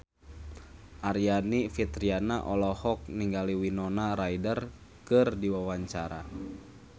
Aryani Fitriana olohok ningali Winona Ryder keur diwawancara